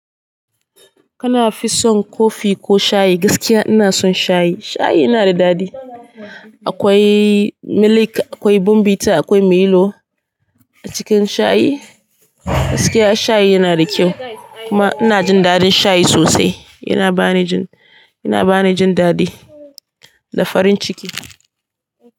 Kana fi son kofi ko shayi? Gaskiya ina son shayi. Shayi yana da dadi. Akwai milk, akwai bomvita, akwai milo a cikin shayi. Gaskiya shayi yana da kyau kuma ina jin dadin shayi sosai. Yana bani jin, yana bani jin dadi da farin ciki.